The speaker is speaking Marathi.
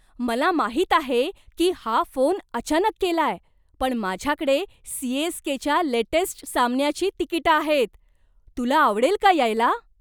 मला माहित आहे की हा फोन अचानक केलाय पण माझ्याकडे सी.एस.के.च्या लेटेस्ट सामन्याची तिकिटं आहेत. तुला आवडेल का यायला?